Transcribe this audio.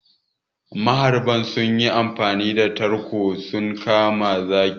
Mahauta sunyi amfani da sange sun kama zaki.